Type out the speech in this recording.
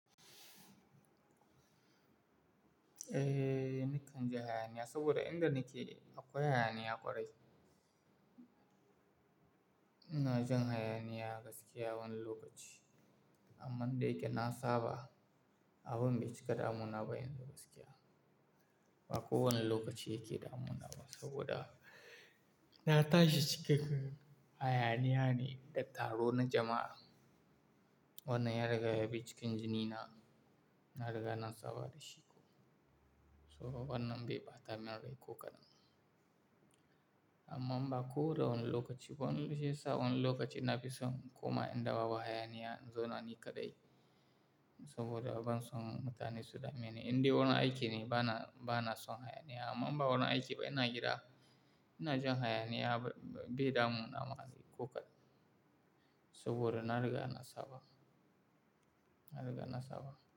Eh, nakan ji hayaniya saboda inda nake akwai hayaniya ƙwarai. Ina jin hayaniya gaskiya wani lokaci. Amma da yake na saba, abin bai cika damunaba yanzu gaskiya. Ba kowane lokaci yake damunaba saboda na tashi cikin hayaniya ne da taro na jama'a. Wannan yana riga bi cikin jini na, na riga na saba da shi ko. Saboda wannan bai bata min rai ko kadan. Amma ba kowane lokaci ba, sai wani lokaci na fi son koma inda babu hayaniya, in zauna ni kadai. Saboda ban son mutane su dameni, indai wurin aiki ne, bana, bana son hayaniya. Amma ba wurin aiki ba ina gida, ina jin hayaniya bai damuna ma ko kadan saboda na riga na saba, na riga na saba.